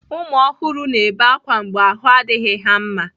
ụmụ ọhụrụ na-ebe akwa mgbe ahụ adịghị ha mma.